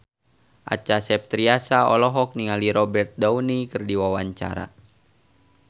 Acha Septriasa olohok ningali Robert Downey keur diwawancara